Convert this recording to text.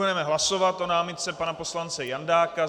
Budeme hlasovat o námitce pana poslance Jandáka.